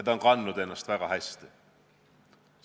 See on seda ideed väga hästi kandnud.